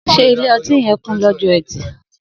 Sé ìlé õtí yen kún lõjõ ètí?